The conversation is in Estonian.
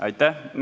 Aitäh!